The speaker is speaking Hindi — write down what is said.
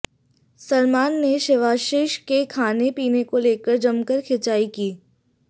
सलमान ने शिवाशीष के खाने पीने को लेकर जमकर खिंचाई की